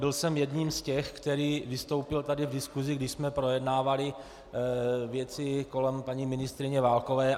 Byl jsem jedním z těch, který vystoupil tady v diskusi, když jsme projednávali věci kolem paní ministryně Válkové.